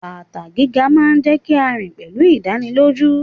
Bàtà gíga máa ń jẹ́ kí a rìn pẹ̀lú ìdánilójú.